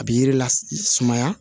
A bɛ yiri la sumaya